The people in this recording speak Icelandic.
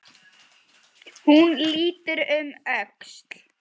Hún lítur um öxl.